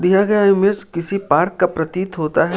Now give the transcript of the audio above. दिया गया इमेज किसी पार्क का प्रतीत होता है।